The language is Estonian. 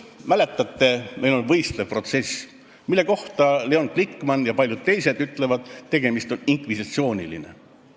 Mäletate, meil on võistlev protsess, mille kohta Leon Glikman ja paljud teised on öelnud, et see on inkvisitsiooniline.